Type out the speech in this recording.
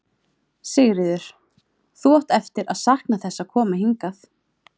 Sigríður: Þú átt eftir að sakna þess að koma hingað?